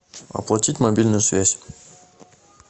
оплатить мобильную связь